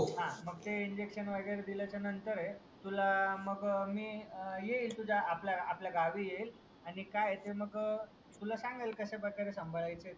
हा मग ते INJECTION वागेरे दिल्या च्या नंतर तुला मग येईल मी तुझ्या आपल्या आपल्या गावी येईल आणि काय आहे ते तुला सांगेल कश्या प्रकारे सामबाडायच आहे त्यांना